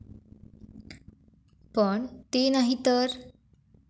पण, ते नाही तर?